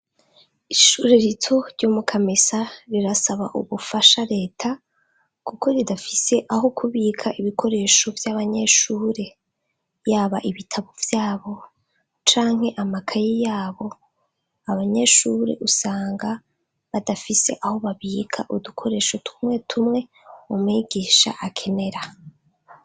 Ishuri rito ryo mu Kamesa rirasaba ubufasha leta, kuko ridafise aho kubika ibikoreshovy'abanyeshure. Yaba ibitabo vyabo canke amakaye yabo, abanyeshure usanga badafise aho babika udukoresho tumwe tumwe umwigisha akenera.